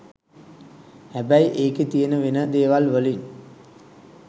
හැබැයි එකෙ තියන වෙන දෙවල් වලින්